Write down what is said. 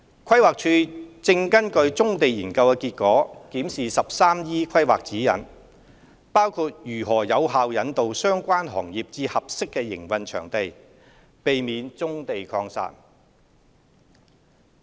規劃署正根據《棕地研究》結果檢視 "13E 規劃指引"，包括如何有效引導相關行業至合適營運場地，避免棕地擴散。